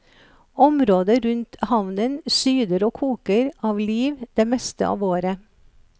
Området rundt havnen syder og koker av liv det meste av året.